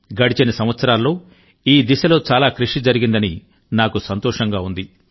గడిచిన సంవత్సరాల్లో ఈ దిశలో చాలా కృషి జరిగిందని నాకు సంతోషంగా ఉంది